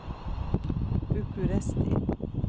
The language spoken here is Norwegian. Bucuresti